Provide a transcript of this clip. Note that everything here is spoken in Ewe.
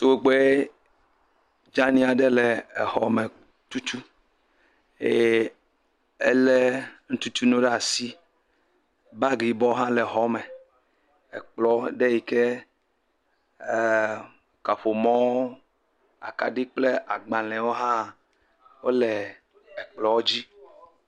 Tugbe dzani aɖe le exɔ me tutum eye elé nu tutu nu ɖe asi, bagi yibɔ hã le xɔ me, ekplɔ ɖe yike kaƒomɔ kple agbalẽwo hã le kplɔ dzi.